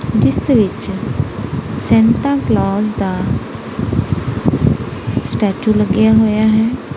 ਜਿਸ ਵਿੱਚ Santa Claus ਦਾ ਸਟੈਚੂ ਲੱਗਿਆ ਹੋਇਆ ਹੈ।